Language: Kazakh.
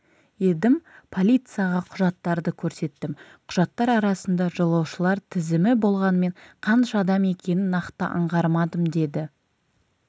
едім полицияға құжаттарды көрсеттім құжаттар арасында жолаушылар тізімі болғанымен қанша адам екенін нақты аңғармадым деді